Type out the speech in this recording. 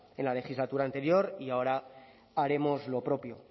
en la legislatura anterior y ahora haremos lo propio